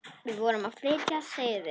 Við vorum að flytja suður.